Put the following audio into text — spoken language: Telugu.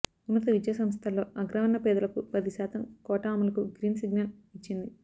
ఉన్నత విద్యా సంస్ధల్లో అగ్రవర్ణ పేదలకు పది శాతం కోటా అమలుకు గ్రీన్ సిగ్నల్ ఇచ్చింది